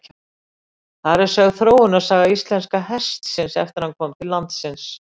þar er sögð þróunarsaga íslenska hestinum eftir að hann kom til landsins